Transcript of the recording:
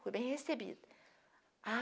Fui bem recebida. A